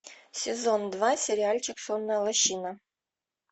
сезон два сериальчик сонная лощина